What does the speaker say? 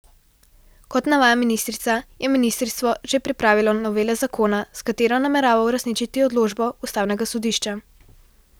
Kot navaja ministrica, je ministrstvo že pripravilo novelo zakona, s katero namerava uresničiti odločbo ustavnega sodišča.